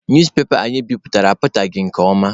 Newspepa anyị bipụtara apụtaghị nke ọma.